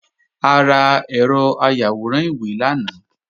A ra ẹ̀rọ ayàwòrán ìwé lánàá